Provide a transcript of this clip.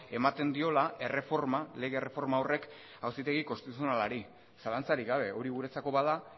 ematen diola erreforma lege erreforma horrek auzitegi konstituzionalari zalantzarik gabe hori guretzako bada